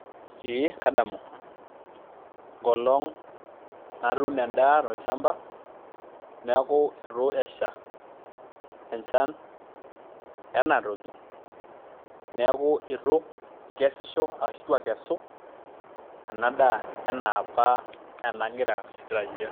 Ee kadamu enkolong' natuuno endaa tolchamba neeku itu esha enchan enaa enatiu neeku itu akesu ena daa ena apa nagira aitarajia.